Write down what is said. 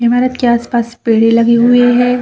इमारत के आस-पास पेड़े लगे हुए है।